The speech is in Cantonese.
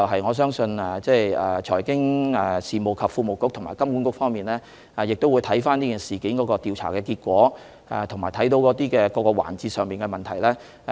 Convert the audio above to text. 我相信財經事務及庫務局及金管局亦會檢視此事件的調查結果及跟進各個環節的問題。